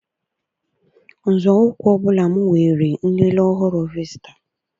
Nzọụkwụ ọ bụla m weere nlele ọhụrụ visita.